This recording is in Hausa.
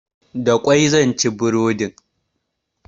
Da ƙwai zan ci burodin.